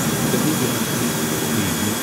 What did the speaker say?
Delhi university D U